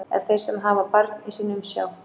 Ef þeir sem hafa barn í sinni umsjá